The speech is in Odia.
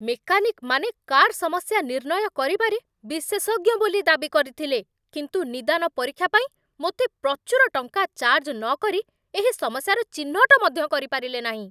ମେକାନିକ୍‌ମାନେ କାର୍ ସମସ୍ୟା ନିର୍ଣ୍ଣୟ କରିବାରେ ବିଶେଷଜ୍ଞ ବୋଲି ଦାବି କରିଥିଲେ, କିନ୍ତୁ 'ନିଦାନ ପରୀକ୍ଷା' ପାଇଁ ମୋତେ ପ୍ରଚୁର ଟଙ୍କା ଚାର୍ଜ ନକରି ଏହି ସମସ୍ୟାର ଚିହ୍ନଟ ମଧ୍ୟ କରିପାରିଲେ ନାହିଁ?